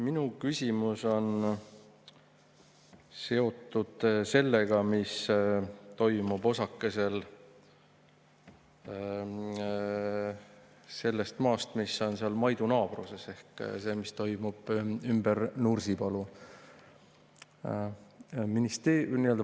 Minu küsimus on seotud sellega, mis toimub osakesel sellest maast, mis on seal Maidu naabruses, ehk sellega, mis toimub ümber Nursipalu.